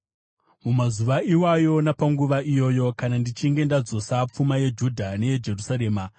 “Mumazuva iwayo, napanguva iyoyo, kana ndichinge ndadzosa pfuma yeJudha neyeJerusarema,